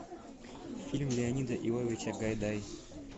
фильм леонида иовича гайдай